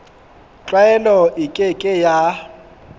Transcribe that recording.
tlwaelo e ke ke ya